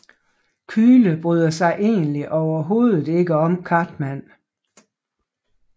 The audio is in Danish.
Kyle bryder sig egentlig overhovedet ikke om Cartman